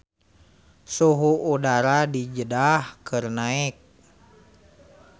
Suhu udara di Jeddah keur naek